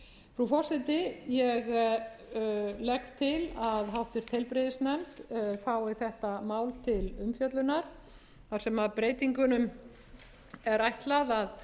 frú forseti ég legg til að háttvirtur heilbrigðisnefnd fái þetta mál til umfjöllunar þar sem breytingunum er ætlað að